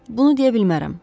Bunu deyə bilmərəm.